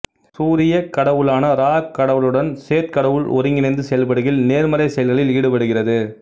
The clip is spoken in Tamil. சூரியக் கடவுளான இரா கடவுளருடன் சேத் கடவுள் ஒருகிணைந்து செயல்படுகையில் நேர்மறை செயல்களில் ஈடுபடுகிறது